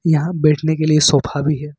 यहां बैठने के लिए सोफा भी--